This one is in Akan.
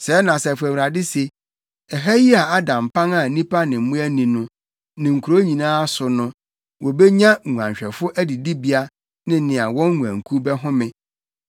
“Sɛɛ na Asafo Awurade se: ‘Ɛha yi a ada mpan a nnipa ne mmoa nni no; ne nkurow nyinaa so no, wobenya nguanhwɛfo adidibea ne nea wɔn nguankuw bɛhome.